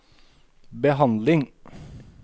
behandling